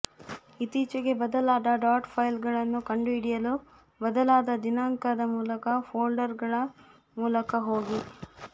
ಇತ್ತೀಚೆಗೆ ಬದಲಾದ ಡಾಟ್ ಫೈಲ್ಗಳನ್ನು ಕಂಡುಹಿಡಿಯಲು ಬದಲಾದ ದಿನಾಂಕದ ಮೂಲಕ ಫೋಲ್ಡರ್ಗಳ ಮೂಲಕ ಹೋಗಿ